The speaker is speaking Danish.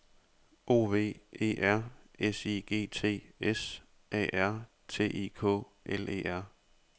O V E R S I G T S A R T I K L E R